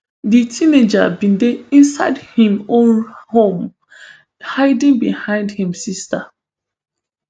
di teenager bin dey inside im own home hiding behind im sisters